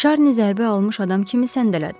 Şarni zərbə almış adam kimi səndələdi.